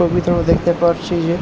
ছবিতে আমরা দেখতে পারছি যে--